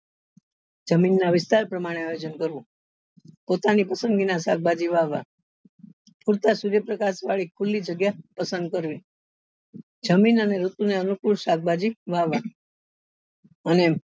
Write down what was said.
જમીન ના વિસ્તાર પ્રમાણે આયોજન કરવું પોતાની પસંદગી ના શાકભાજી વાવવા ઉગતા સૂર્ય પ્રકાશ વાળી ખુલ્લી જગ્યા પસંદ કરવી જમીન અને ઋતુ ને અનુકુળ શાકભાજી વાવવા અને